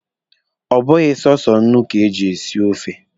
Ọ bụghị sọsọ nnu ka e ji esi ofe.